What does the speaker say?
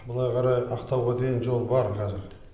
былай қарай ақтауға дейін жол бар қазір